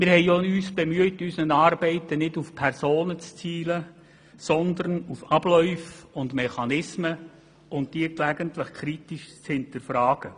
Wir haben uns bemüht, bei unseren Arbeiten nicht auf Personen zu zielen, sondern auf Abläufe und Mechanismen, und diese gelegentlich kritisch zu hinterfragen.